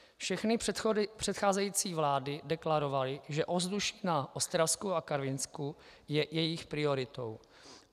Všechny předcházející vlády deklarovaly, že ovzduší na Ostravsku a Karvinsku je jejich prioritou.